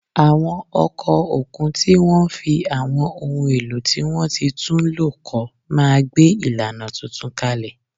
Àwọn ọkọ̀ òkun tí wọ́n fi àwọn ohun èlò tí wọ́n ti tún lò kọ́ máa gbé ìlànà tuntun kalẹ̀